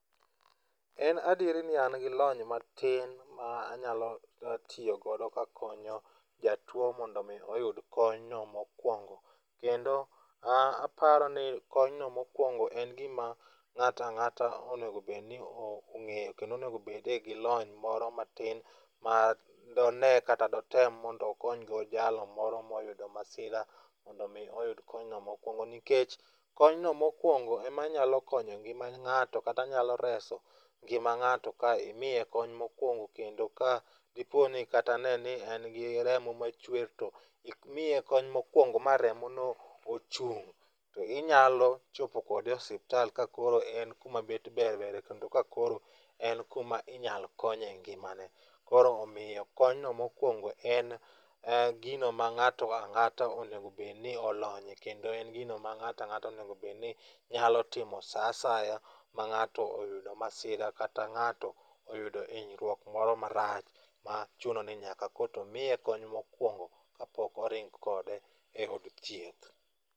En adieri ni an gi lony matin ma anyalo tiyo godo kakonyo jatuwo mondo omi oyud konyno mokwongo. Kendo aparo ni konyno mokwongo en gima ng'ato ang'ata onego obedni ong'eyo kendo onego bede gi lony matin ma done kata dotem mondo okonygo jalno moro moyudo masira, mondo omi oyud konyno mokwongo, nikech konyno mokwongo em anyalo konyo ngima ng'ato kata nyalo reso ngima ng'ato ka imiye kony mokwongo kendo ka dipo ni kata ne en gi remo machwer to imiye kony mokwongo ma remono ochung',to inyalo chopo kode e osiptal ka koro en kuma bet ber bere kendo ka koro en kuma inyalo konyo e ngimane. Koro omiyo konyno mokwongo en gino ma ng'ato ang'ata onego obedni olonyye kendo en gino ma ng'ato ang'ata onego obedni nyalo timo sa asaya ma ng'ato oyudo masira kata ng'ato oyud hinyruok moro marach, ma chuno ni nyaka koro to miye kony mokwongo kapok oring kode e od thieth.